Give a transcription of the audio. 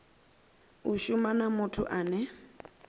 a shuma na muthu ane